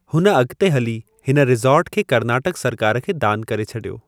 हुन अॻिते हली हिन रिज़ॉर्ट खे कर्नाटकि सरकार खे दानु करे छॾियो।